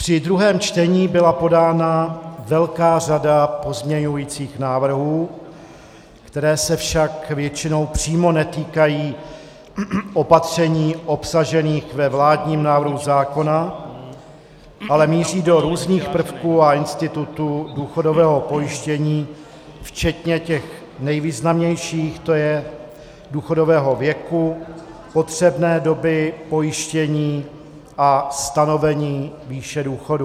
Při druhém čtení byla podána velká řada pozměňovacích návrhů, které se však většinou přímo netýkají opatření obsažených ve vládním návrhu zákona, ale míří do různých prvků a institutů důchodového pojištění, včetně těch nejvýznamnějších, to je důchodového věku, potřebné doby pojištění a stanovení výše důchodů.